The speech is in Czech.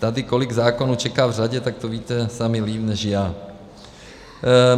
Tady kolik zákonů čeká v řadě, tak to víte sami líp než já.